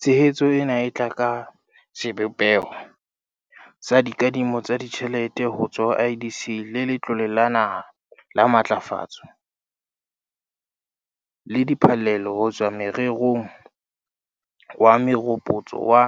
Tshehetso ena e tla tla ka sebopeho sa dikadimo tsa ditjhelete ho tswa ho IDC le Letlole la Naha la Matlafatso, NEF, le diphallelo ho tswa morerong wa meropotso wa